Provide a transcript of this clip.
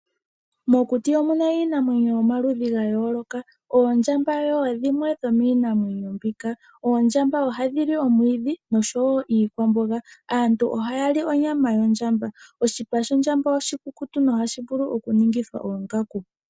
Mokuti omuna iinamwenyo yomaludhi ga yooloka. Oondjamba yimwe yomiinamwenyo mbika. Oondjamba ohadhi li omwiidhi osho wo iikwamboga. Aantu oha ya li onyama yondjamba. Oshipa shondjamba oshikukutu nohashi vulu oku ningithwa oongaku.